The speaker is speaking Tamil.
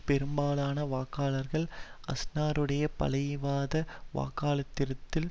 பெரும்பாலான வாக்காளர்கள் அஸ்னருடைய பழமைவாத வாக்களித்திருந்தால்